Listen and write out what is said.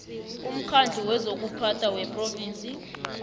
umkhandlu wezokuphatha wephrovinsi